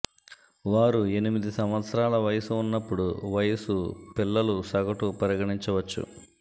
వారు ఎనిమిది సంవత్సరాల వయస్సు ఉన్నప్పుడు వయసు పిల్లులు సగటు పరిగణించవచ్చు